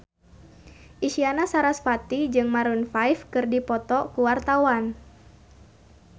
Isyana Sarasvati jeung Maroon 5 keur dipoto ku wartawan